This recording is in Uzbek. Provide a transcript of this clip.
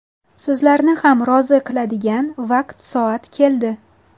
Sizlarni ham rozi qiladigan vaqt-soat keldi.